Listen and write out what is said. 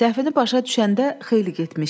Səhvini başa düşəndə xeyli getmişdi.